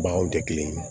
Baw tɛ kelen ye